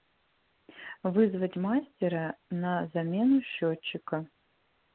вызвать мастера на замену счётчика